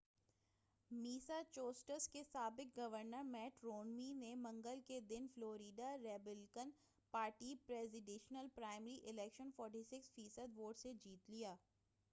Massachusetts کے سابق governor Mitt Romney نے منگل کے دن Florida Republican party presidential primary election 46 فی صد ووٹ سے جیت لیا